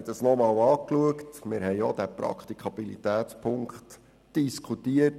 Wir haben dies noch einmal angeschaut und auch den Praktikabilitätspunkt diskutiert.